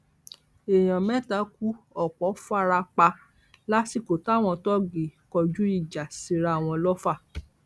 èèyàn mẹta kú ọpọ fara pa lásìkò táwọn tóógi kọjú ìjà síra wọn lọfà